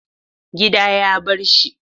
Gida ya barshi.